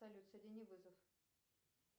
салют соедини вызов